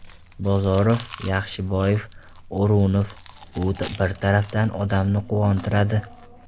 Bozorov, Yaxshiboyev, O‘runov... Bu bir tarafdan odamni quvontiradi.